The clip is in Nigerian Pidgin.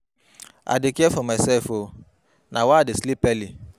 I dey care for mysef o, na why I dey sleep early.